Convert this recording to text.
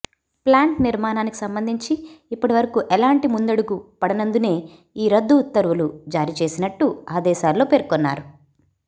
plant నిర్మాణానికి సంబంధించి ఇప్పటి వరకూ ఎలాంటి ముందడుగు పడనందునే ఈ రద్దు ఉత్తర్వులు జారీ చేసినట్టు ఆదేశాల్లో పేర్కొన్నారు